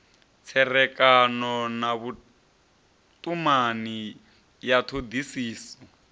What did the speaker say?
tserekano na vhutumani ya thodisiso